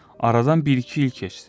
Aradan bir-iki il keçdi.